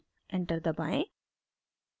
enter दबाएं